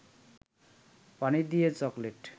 পানি দিয়ে চকলেট